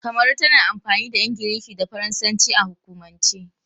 Kamaru tana amfani da Ingilishi da Faransanci a hukumance.